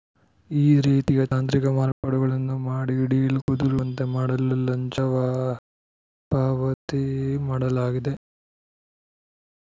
ಈ ರೀತಿಯ ತಾಂತ್ರಿಕ ಮಾರ್ಪಾಡುಗಳನ್ನು ಮಾಡಿ ಡೀಲ್‌ ಕುದುರುವಂತೆ ಮಾಡಲು ಲಂಚ ಪಾವತಿ ಮಾಡಲಾಗಿದೆ